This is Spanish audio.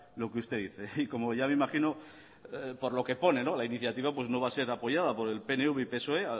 lo que usted dice y como ya me imagino por lo que pone la iniciativa no va a ser apoyada por el pnv y psoe